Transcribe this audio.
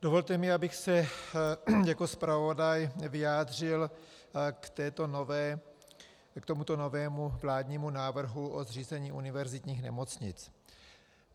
Dovolte mi, abych se jako zpravodaj vyjádřil k tomuto novému vládnímu návrhu o zřízení univerzitních nemocnic.